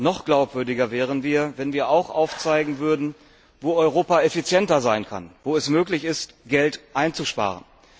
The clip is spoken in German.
Noch glaubwürdiger wären wir, wenn wir auch aufzeigten, wo Europa effizienter sein kann, wo es möglich ist, Geld einzusparen.